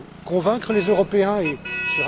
Il faut convaincre les Européens et M.